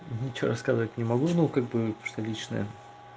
ничего сказать не могу но как бы что личное